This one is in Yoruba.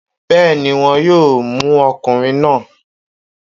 Bẹ́ẹ̀ni, wón yóò mú ọkùnrin náà